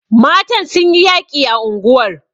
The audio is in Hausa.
Matan sun yi yaƙi a unguwar..